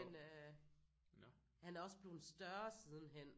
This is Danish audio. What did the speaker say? Men øh han er også bleven større sidenhen